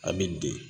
A bɛ de